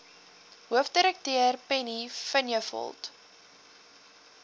hoofdirekteur penny vinjevold